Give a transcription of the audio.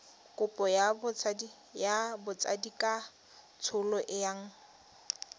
kopo ya botsadikatsholo e yang